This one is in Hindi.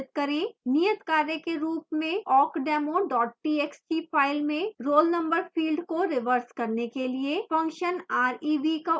नियत कार्य के रूप में awkdemo txt file में roll number field को reverse करने के लिए function rev का उपयोग करें